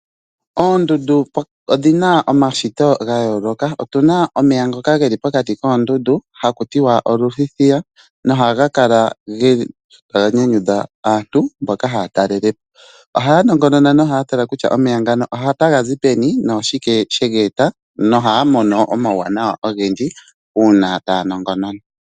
Oondundu odhi na omashito ga yooloka. Otu na omeya ngoka ge li pokati koondundu, haku tiwa oluthithiya, noha ga kala nyanyudha aantu, mboka haa talele po. Ohaa nongonona nohaa tala kutya omeya ngano ota ga zi peni, noshike she ga eta, no haa mono omauwanawa ogendji, uuna taa nongonona.